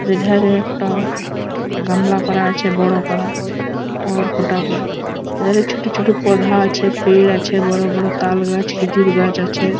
এধারে একটা গামলা করা আছে বড় করা টার খটা এধারে ছোট ছোট পৌধা আছে পের্ আছে বড় বড় তালগাছ খেজুর গাছ আছে।